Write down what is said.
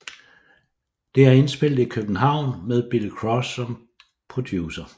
Det er indspillet i København med Billy Cross som producer